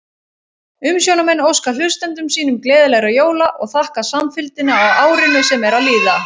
Umsjónarmenn óska hlustendum sínum gleðilegra jóla og þakka samfylgdina á árinu sem er að líða!